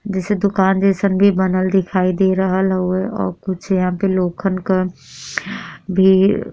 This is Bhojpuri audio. जइसन दुकान जइसन बी बनल दिखाई दे रहल हुउए ओर कुछ यहाँ पे लोगन क भी --